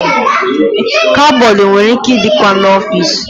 Kabọọdụ nwere ike ị dịkwa n'ọfici.